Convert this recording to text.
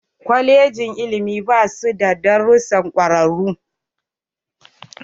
Kwaleji na ilimi basu darussan kwararu.